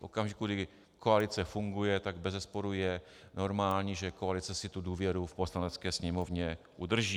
V okamžiku, kdy koalice funguje, tak bezesporu je normální, že koalice si tu důvěru v Poslanecké sněmovně udrží.